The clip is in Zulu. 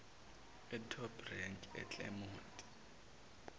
etop rank eclermont